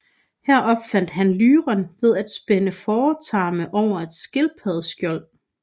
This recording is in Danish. Her opfandt han lyren ved at spænde fåretarme over et skildpaddeskjold